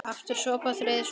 Aftur sopi, og þriðji sopi.